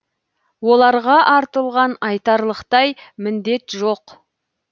оларға артылған айтарлықтай міндет жоқ